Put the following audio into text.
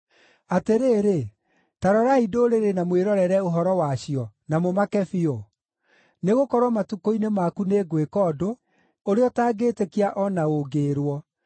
“Atĩrĩrĩ, ta rorai ndũrĩrĩ na mwĩrorere ũhoro wacio, na mũmake biũ. Nĩgũkorwo matukũ-inĩ maku nĩngwĩka ũndũ ũrĩa ũtangĩĩtĩkia o na ũngĩĩrwo.